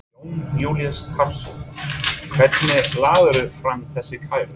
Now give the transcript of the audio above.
Jón Júlíus Karlsson: Hvenær lagðirðu fram þessa kæru?